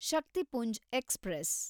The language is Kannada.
ಶಕ್ತಿಪುಂಜ್ ಎಕ್ಸ್‌ಪ್ರೆಸ್